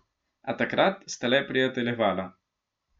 A takrat sta le prijateljevala.